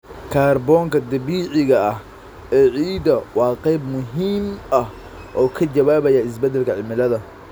Kaarboonka dabiiciga ah ee ciidda waa qayb muhiim ah oo ka jawaabaya isbeddelka cimilada.